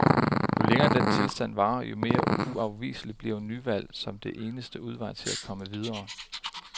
Jo længere den tilstand varer, jo mere uafviselig bliver nyvalg som den eneste udvej til at komme videre.